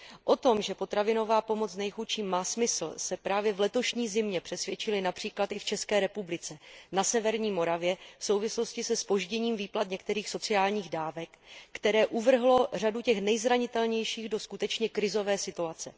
O tom, že potravinová pomoc nejchudším má smysl, se právě v letošní zimě přesvědčili například i v České republice, na severní Moravě, v souvislosti se zpožděním výplat některých sociálních dávek, které uvrhlo řadu těch nejzranitelnějších do skutečně krizové situace.